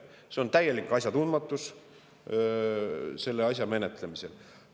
See on täielik asjatundmatus selle asja menetlemisel.